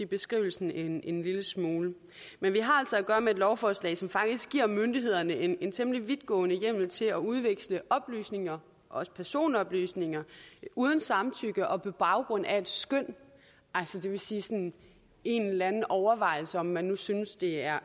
beskrivelsen en en lille smule men vi har altså at gøre med et lovforslag som faktisk giver myndighederne en en temmelig vidtgående hjemmel til at udveksle oplysninger også personoplysninger uden samtykke og på baggrund af et skøn det vil sige sådan en eller anden overvejelse om hvorvidt man synes det er